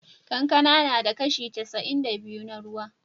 Kankana tana da kashi casa'in da biyu na ruwa.